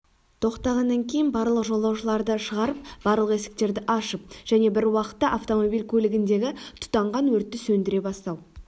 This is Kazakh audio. тоқтағаннан кейін барлық жолаушыларды шығарыпбарлық есіктерді ашып және біруақытта автомобиль көлігіндегі тұтанған өртті сөндіре бастау